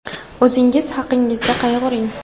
O‘zingiz haqingizda qayg‘uring.